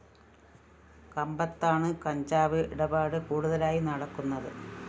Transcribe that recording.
കമ്പത്താണ് കഞ്ചാവ് ഇടപാട് കൂടുതലായി നടക്കുന്നത്